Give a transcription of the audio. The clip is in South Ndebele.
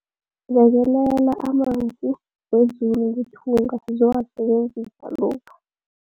Bekelela amanzi wezulu ngethunga sizowasebenzisa lokha.